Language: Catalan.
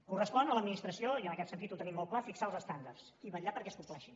correspon a l’administració i en aquest sentit ho tenim molt clar fixar els estàndards i vetllar perquè es compleixin